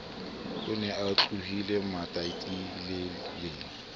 o ne a tlohile matatilele